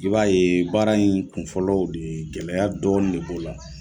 I b'a ye baara in kunfɔlɔ de gɛlɛya dɔnnin de b'o la.